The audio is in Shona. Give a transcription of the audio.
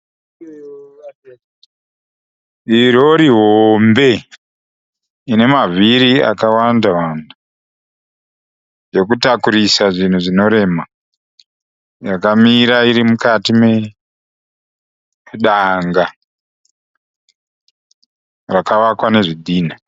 Rori hombe inemavhiri akawanda-wanda, yokutakurisa zvinhu zvinorema. Yakamira irimukati medanga rakavakwa nezvidhinha.